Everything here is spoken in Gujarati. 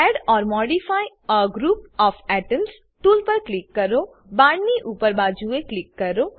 add or modify a group of atoms tool પર ક્લિક કરો બાણની ઉપર બાજુએ ક્લિક કરો